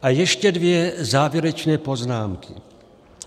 A ještě dvě závěrečné poznámky.